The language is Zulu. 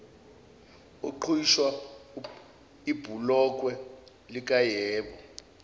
uqhwisha ibhulokwe likayebo